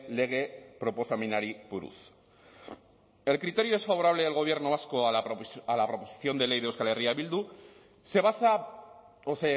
lege proposamenari buruz el criterio desfavorable del gobierno vasco a la proposición de ley de euskal herria bildu se basa o